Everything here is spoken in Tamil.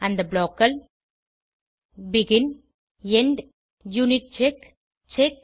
அந்த blockகள் பெகின் எண்ட் யூனிட்செக் செக்